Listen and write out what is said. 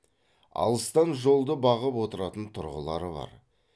алыстан жолды бағып отыратын тұрғылары бар